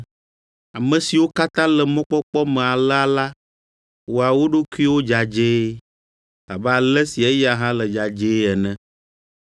Ame siwo katã le mɔkpɔkpɔ me alea la wɔa wo ɖokuiwo dzadzɛe abe ale si eya hã le dzadzɛe ene.